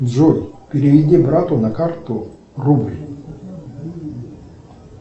джой переведи брату на карту рубль